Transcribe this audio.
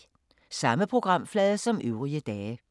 Samme programflade som øvrige dage